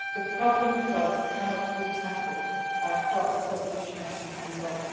The problem of drugs cannot be tackled by crop substitution alone.